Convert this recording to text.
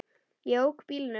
Ég ók bílnum.